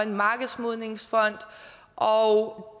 markedsmodningsfonden og